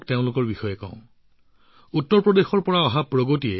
আৰ্চাৰীত পদক লাভ কৰিছে উত্তৰপ্ৰদেশৰ বাসিন্দা প্ৰগতিয়ে